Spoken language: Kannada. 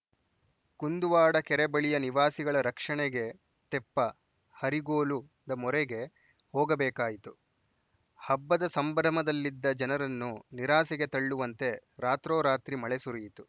ಕುಂದುವಾಡ ಕೆರೆ ಬಳಿಯ ನಿವಾಸಿಗಳ ರಕ್ಷಣೆಗೆ ತೆಪ್ಪಹರಿಗೋಲುದ ಮೊರೆಗೆ ಹೋಗ ಬೇಕಾಯಿತು ಹಬ್ಬದ ಸಂಭ್ರಮದಲ್ಲಿದ್ದ ಜನರನ್ನು ನಿರಾಸೆಗೆ ತಳ್ಳುವಂತೆ ರಾತ್ರೋರಾತ್ರಿ ಮಳೆ ಸುರಿಯಿತು